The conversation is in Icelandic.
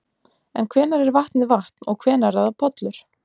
En hvenær er vatnið vatn og hvenær er það pollur?